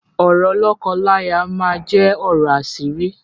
Ọ̀rọ̀ lọ́kọ-láya máa jẹ ọ̀rọ̀ àṣírí